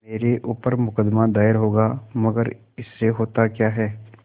मेरे ऊपर मुकदमा दायर होगा मगर इससे होता क्या है